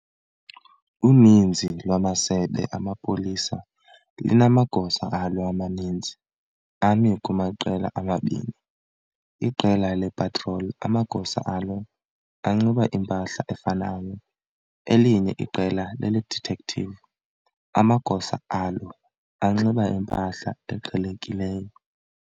Uninzi lwamasebe amapolisa linamagosa alo amaninzi ami kumaqela amabini- iqela le-"patrol" amagosa alo anxiba impahla efanayo, elinye iqela lele-"detective" amagosa alo anxiba impahla eqhelekileyo.